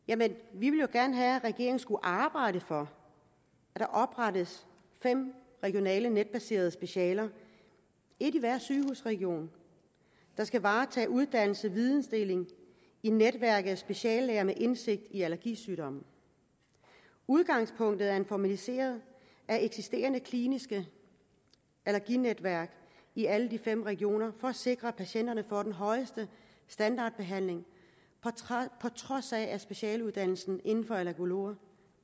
ville jo gerne have at regeringen skulle arbejde for at der oprettes fem regionale netbaserede specialer et i hver sygehusregion der skal varetage uddannelse videndeling i netværket af speciallæger med indsigt i allergisygdomme udgangspunktet er en formalisering af eksisterende kliniske allerginetværk i alle de fem regioner for at sikre at patienterne får den højeste standardbehandling på trods af at specialuddannelsen inden for allergologer